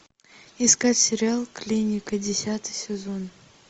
искать сериал клиника десятый сезон